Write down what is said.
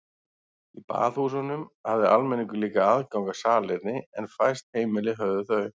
Í baðhúsunum hafði almenningur líka aðgang að salerni en fæst heimili höfðu þau.